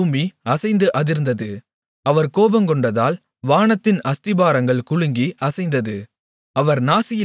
அப்பொழுது பூமி அசைந்து அதிர்ந்தது அவர் கோபங்கொண்டதால் வானத்தின் அஸ்திபாரங்கள் குலுங்கி அசைந்தது